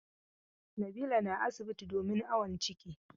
Nabila na asibiti domin awon ciki.